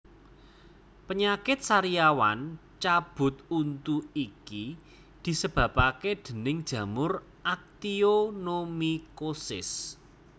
Penyakit sariawan cabut untu iki disebabake déning jamur actionomycosis